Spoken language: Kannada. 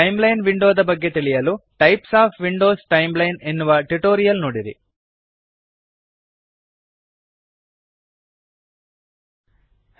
ಟೈಮ್ಲೈನ್ ವಿಂಡೋದ ಬಗ್ಗೆ ತಿಳಿಯಲು types of windows - timeline types of windows timeline ಎನ್ನುವ ಟ್ಯುಟೋರಿಯಲ್ ನೋಡಿರಿ